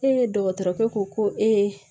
Ee dɔgɔtɔrɔkɛ ko ko ee